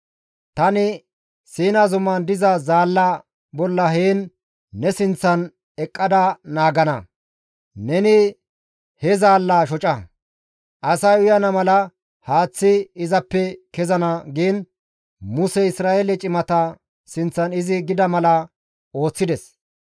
Tani Siina zuman diza zaallaa bolla heen ne sinththan eqqada naagana; neni he zaallaa shoca; asay uyana mala haaththi izappe kezana» giin Musey Isra7eele cimata sinththan izi gida mala ooththides.